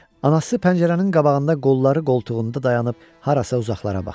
Anası pəncərənin qabağında qolları qoltuğunda dayanıp harasa uzaqlara baxırdı.